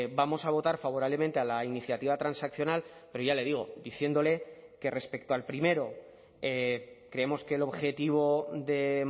vamos a votar favorablemente a la iniciativa transaccional pero ya le digo diciéndole que respecto al primero creemos que el objetivo de